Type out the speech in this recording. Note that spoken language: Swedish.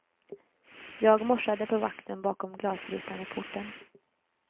Jag morsade på vakten bakom glasrutan vid porten.